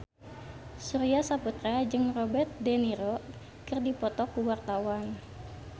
Surya Saputra jeung Robert de Niro keur dipoto ku wartawan